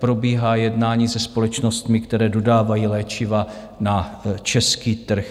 Probíhá jednání se společnostmi, které dodávají léčiva na český trh.